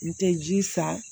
N tɛ ji san